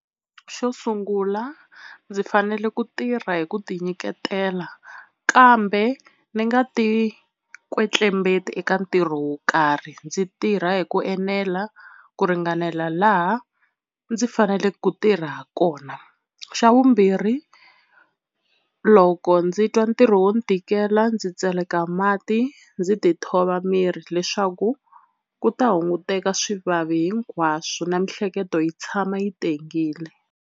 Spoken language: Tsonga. Xo sungula ndzi fanele ku tirha hi ku tinyiketela kambe ni nga ti kwetlembetani eka ntirho wo karhi ndzi tirha hi ku enela ku ringanela laha ndzi fanele ku tirha ha kona. Xa vumbirhi loko ndzi twa ntirho wo ni tikela ndzi tseleka mati ndzi tithova miri leswaku ku ta hunguteka swivavi hinkwaswo na miehleketo yi tshama yi tengile.